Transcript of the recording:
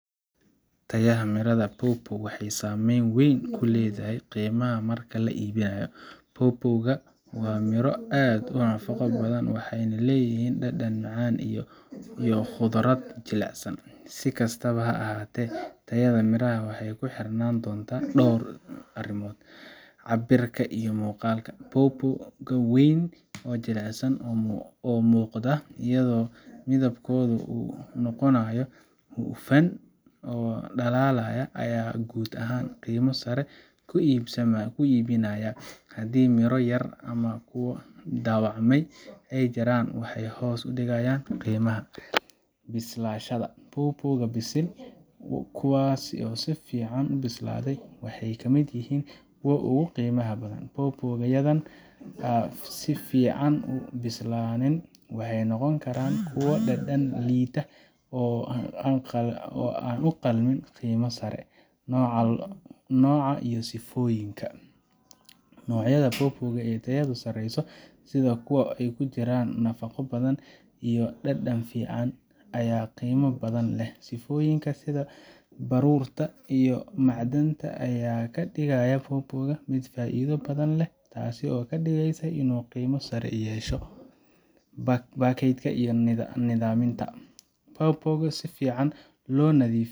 Tayada miraha pawpaw waxay saameyn weyn ku leedahay qiimaha marka la iibinayo. pawpaw ga waa miro aad u nafaqo badan, waxayna leeyihiin dhadhan macaan iyo khudrad jilicsan. Si kastaba ha ahaatee, tayada miraha waxay ku xirnaan doontaa dhowr arrimood: Cabbirka iyo Muuqaalka: pawpaw ga weyn oo jilicsan oo muuqda, iyadoo midabkoodu uu noqonayo hufan oo dhalaalaya, ayaa guud ahaan qiimo sare ku iibinaya. Haddii miro yar ama kuwo dhaawacmay ay jiraan, waxay hoos u dhigayaan qiimaha. Bislaanshaha: pawpaw ga bisil, kuwaas oo si fiican u bislaaday, waxay ka mid yihiin kuwa ugu qiimaha badan. pawpaw yada aan si fiican u bislaanin waxay noqon karaan kuwo dhadhan liita oo aan u qalmin qiimo sare. Nooca iyo Sifooyinka: Noocyada pawpaw ee tayadu sareyso, sida kuwa ay ku jiraan nafaqo badan iyo dhadhan fiican, ayaa qiimo badan leh. Sifooyinka sida baruurta iyo macdanta ayaa ka dhigaya pawpaw ga mid faa'iido badan leh, taasoo ka dhigaysa inuu qiimo sare yeesho. Baakada iyo Nadiifnimada: pawpaw ga oo si fiican loo nadiifiye.